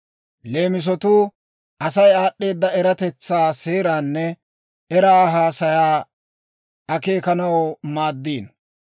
Leemisatuu Asay aad'd'eedda eratetsaa, seeraanne era haasayaa akeekanaw maaddiino.